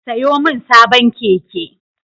Sayo min sabon keke